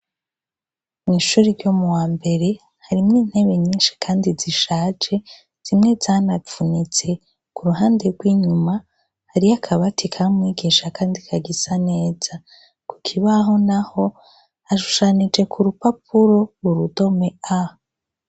Mwishuri ryo muwambere harimwo intebe nyinshi kandi zishaje zimwe zanavunitse kuruhande, gw' inyuma hariyo akabati kamwe kandi kagisa neza ,kukibaho naho hashushanije kurupapuro urudome A.